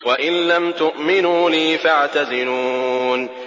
وَإِن لَّمْ تُؤْمِنُوا لِي فَاعْتَزِلُونِ